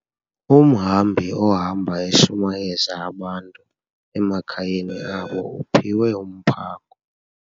Umhambi ohamba eshumayeza abantu emakhayeni abo uphiwe umphako.